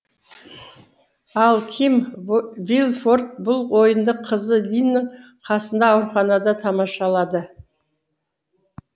ал ким вильфорт бұл ойынды қызы линнің қасында ауруханада тамашалады